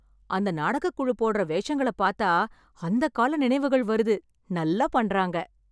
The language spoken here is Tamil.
அந்த நாடகக் குழு போடற வேஷங்கள பாத்தா அந்த கால நினைவுகள் வருது. நல்லா பண்றாங்க.